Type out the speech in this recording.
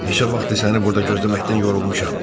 Neçə vaxtdır səni burda gözləməkdən yorulmuşam.